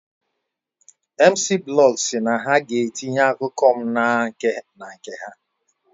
Mciiblog SI na ha ga etinye akụkọ m na nke ha